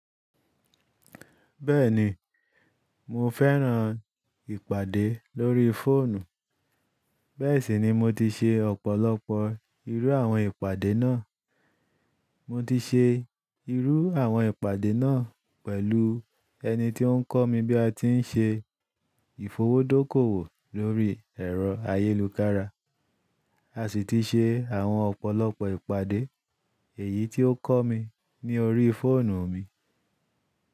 Bẹ́ẹ̀ni, mo fẹ́ràn ìpàdé lórí fóònù. Bẹ́ẹ̀ sì ni mo ti ṣe ọ̀pọ̀lọpọ̀ irú àwọn ìpàdé náà. Mo ti se irú àwọn ìpàdé náà pẹ̀lú ẹni tí ó ń kọ́ mi bí a ti ń ṣe ìfowódókòwò lórí ẹ̀rọ ayélukára. A sì ti ṣe àwọn ọ̀pọ̀lọpọ̀ ìpàdé èyí tí ó kọ́ mi ní orí fóònù mi.